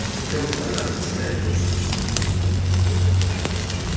unobhala ugcina imizuzu